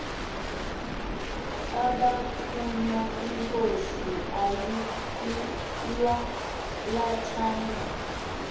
abathunywa inkosi ayilwalathanga